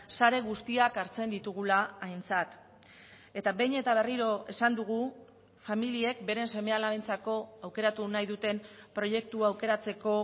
sare guztiak hartzen ditugula aintzat eta behin eta berriro esan dugu familiek beren seme alabentzako aukeratu nahi duten proiektua aukeratzeko